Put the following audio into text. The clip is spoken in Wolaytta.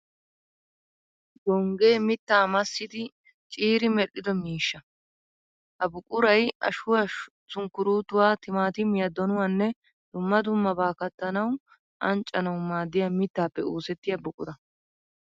Gonggee mittaa massidi ciiri medhdhido miishsha. Ha buquray ashuwa, sunkkuruutuwa, timaatimiya, donuwanne dumma dummabata kattanawu anccanawu maaddiya mittaappe oosettiya buqura.